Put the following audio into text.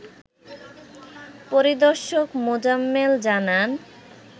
পরিদর্শক মোজাম্মেল জানান